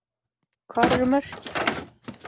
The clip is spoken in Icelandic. Hvar eru mörkin?